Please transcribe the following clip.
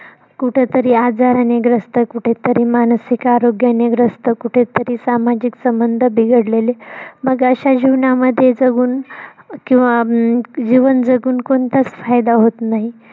कुठंतरी आजारानी ग्रस्त कुठंतरी मानसिक आरोग्यानी ग्रस्त कुठंतरी सामाजिक संबंध बिघडलेले मग अश्या जीवनामध्ये जगून किंव्हा अं जीवन जगून कोणताच फायदा होत नाही.